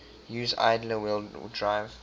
used idler wheel drive